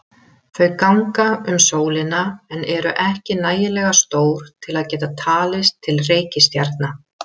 Þau ganga um sólina en eru ekki nægilega stór til að geta talist til reikistjarna.